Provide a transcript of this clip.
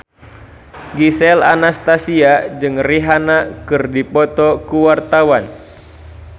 Gisel Anastasia jeung Rihanna keur dipoto ku wartawan